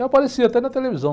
Eu apareci até na televisão.